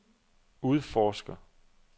udforsker